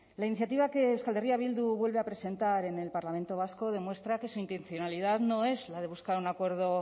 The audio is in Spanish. la iniciativa que euskal herria bildu vuelve a presentar en el parlamento vasco demuestra que su intencionalidad no es la de buscar un acuerdo